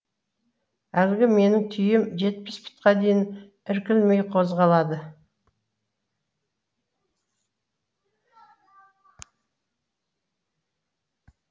әлгі менің түйем жетпіс пұтқа дейін іркілмей қозғалады